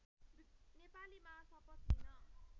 नेपालीमा शपथ लिन